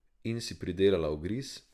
In si pridelala ugriz.